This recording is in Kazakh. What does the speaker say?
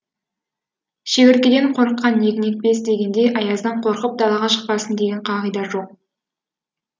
шегірткеден қорыққан егін екпес дегендей аяздан қорқып далаға шықпасын деген қағида жоқ